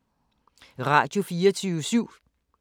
Radio24syv